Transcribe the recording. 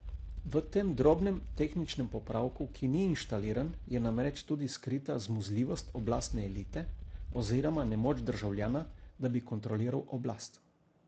V tem drobnem tehničnem popravku, ki ni inštaliran, je namreč tudi skrita zmuzljivost oblastne elite, oziroma nemoč državljana, da bi kontroliral oblast.